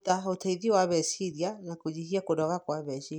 kũruta ũteithio wa meciria na kũnyihia kũnoga kwa meciria.